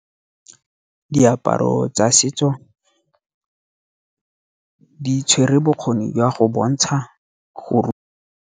Diaparo tsa setso di tshwere bokgoni jwa go bontsha go .